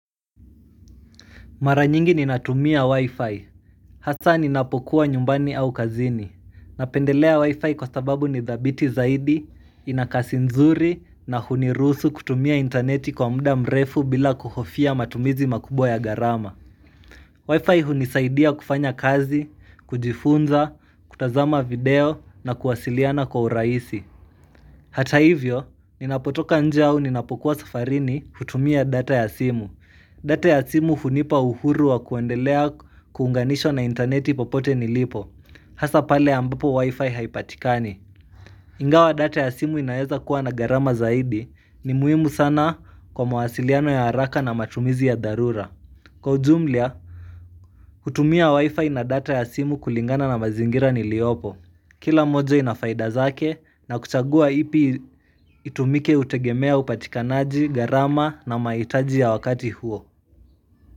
Mara nyingi ninatumia wi-fi. Hasa ninapokuwa nyumbani au kazini. Napendelea wi-fi kwa sababu nithabiti zaidi, inakasinzuri, na hunirusu kutumia interneti kwa muda mrefu bila kuhofia matumizi makubwa ya garama. Wi-fi hunisaidia kufanya kazi, kujifunza, kutazama video, na kuwasiliana kwa uraisi. Hata hivyo, ninapotoka nje au ninapokuwa safarini kutumia data ya simu. Data ya simu hunipa uhuru wa kuendelea kuunganisho na interneti popote nilipo Hasa pale ambapo wifi haipatikani Ingawa data ya simu inayeza kuwa na garama zaidi ni muhimu sana kwa mawasiliano ya haraka na matumizi ya dharura Kwa ujumlia, kutumia wifi na data ya simu kulingana na mazingira niliopo Kila mojo inafaida zake na kuchagua ipi itumike hutegemea upatikanaji garama na maitaji ya wakati huo.